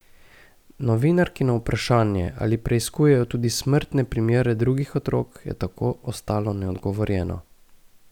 Novinarkino vprašanje, ali preiskujejo tudi smrtne primere drugih otrok, je tako ostalo neodgovorjeno.